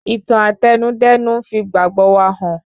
Ìtàn Àtẹnudẹ́nu n fi ìgbàgbọ wa hàn